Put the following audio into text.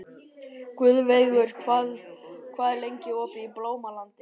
Guðveigur, hvað er lengi opið í Blómalandi?